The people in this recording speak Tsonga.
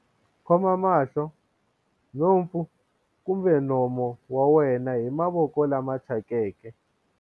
khoma mahlo, nhompfu kumbe nomo wa wena hi mavoko lama thyakeke.